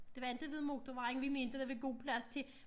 Det var inte ved motorvejen vi mente der var god plads til